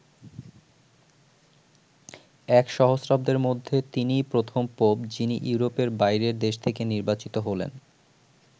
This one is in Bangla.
এক সহস্রাব্দের মধ্যে তিনিই প্রথম পোপ যিনি ইউরোপের বাইরের দেশ থেকে নির্বাচিত হলেন।